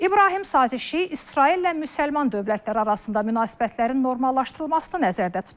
İbrahim sazişi İsraillə müsəlman dövlətləri arasında münasibətlərin normallaşdırılmasını nəzərdə tutur.